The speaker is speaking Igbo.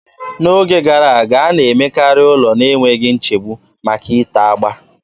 N'oge gara aga, a na-emekarị ụlọ na-enweghị nchegbu maka ite agba.